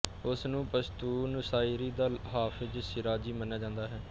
ਉਸਨੂੰ ਪਸ਼ਤੂਨ ਸ਼ਾਇਰੀ ਦਾ ਹਾਫ਼ਿਜ਼ ਸ਼ੀਰਾਜ਼ੀ ਮੰਨਿਆ ਜਾਂਦਾ ਹੈ